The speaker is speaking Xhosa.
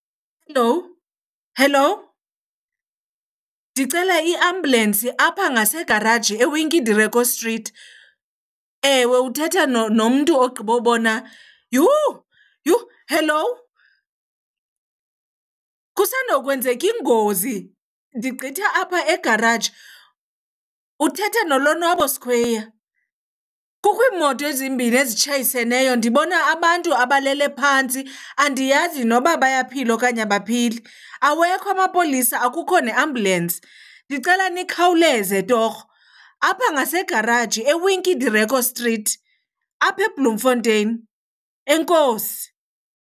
Helowu, helowu. Ndicela iambulensi apha ngasegaraji eWinkie Direko Street. Ewe, uthetha nomntu ogqibobona, yhu yhu, helowu. Kusandokwenzeka ingozi, ndigqitha apha egaraji. Uthetha noLonwabo Sikhweyiya. Kukho iimoto ezimbini ezitshayiseneyo, ndibona abantu abalele phantsi andiyazi noba bayaphila okanye abaphili. Awekho amapolisa, akukho neambulensi. Ndicela nikhawuleze torho. Apha ngasegaraji eWinkie Direko Street, apha eBloemfontein. Enkosi.